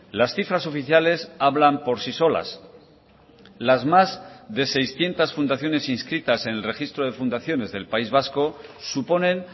las cifras oficiales hablan por sí solas las más de seiscientos fundaciones inscritas en el registro de fundaciones del país vasco suponen